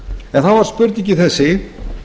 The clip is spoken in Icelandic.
en þá er spurningin þessi